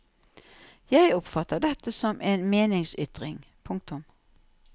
Jeg oppfatter dette som en meningsytring. punktum